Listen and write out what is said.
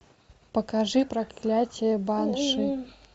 покажи проклятье банши